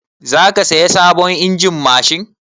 Za ka saya sabon injin mashin?